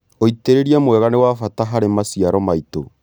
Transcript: ũitĩrĩria mwega nĩ wa bata harĩ maciaro maitũ.